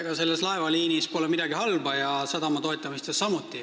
Ega selles laevaliinis pole midagi halba ja sadamate toetamises samuti mitte.